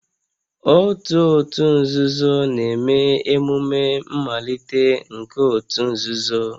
Otu òtù nzuzo na-eme emume mmalite nke òtù nzuzo